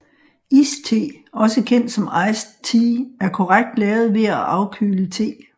Iste også kendt som Iced Tea er korrekt lavet ved at afkøle te